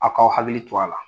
A k'aw hakili to a la